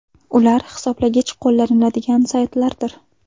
Ular hisoblagich qo‘llaniladigan saytlardir.